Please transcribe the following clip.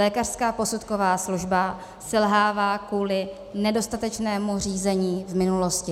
Lékařská posudková služba selhává kvůli nedostatečnému řízení v minulosti.